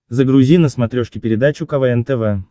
загрузи на смотрешке передачу квн тв